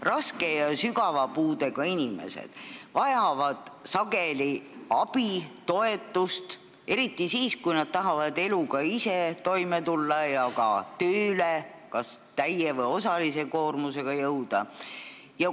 Raske ja sügava puudega inimesed vajavad sageli abi ja toetust – eriti siis, kui nad tahavad ise eluga toime tulla ning ka täie või osalise koormusega töötada ja tööle jõuda.